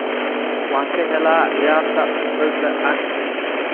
Waan ka helaa ciyaarta kubbadda cagta